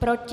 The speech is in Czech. Proti?